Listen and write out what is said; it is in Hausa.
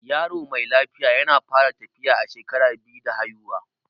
Yaro mai lafiya yana fara tafiya a shekara biyu da haifuwa